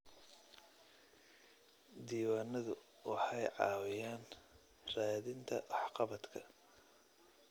Diiwaanadu waxay caawiyaan raadinta waxqabadka.